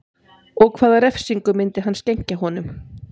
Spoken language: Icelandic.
Og hvaða refsingu myndi hann skenkja honum